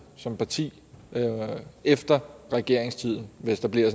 som parti efter regeringstiden hvis der bliver